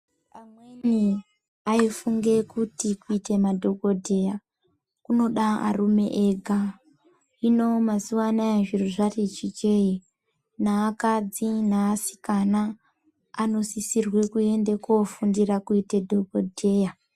Amweni aifunge kuti kuite madhokodheya kunoda arume ega. Hino mazuwa anaa zviro zvati chichei neakadzi neasikana anosisirwe kuende kofundira kuite dhokodheya.